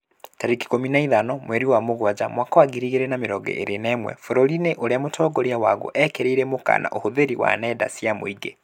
Tarĩki ikũmi na ithano mweri wa Mũgaa mwaka wa ngiri igĩrĩ na mĩrongo ĩrĩ na ĩmwe, bũrũri-inĩ ũrĩa mũtongoria waguo ekĩrirĩre mũkana ũhũthĩri wa nenda cia mũingĩ